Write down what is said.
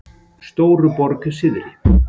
Stóruborg syðri